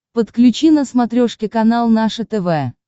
подключи на смотрешке канал наше тв